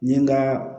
N ye n ka